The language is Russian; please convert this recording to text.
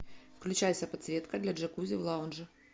включайся подсветка для джакузи в лаунже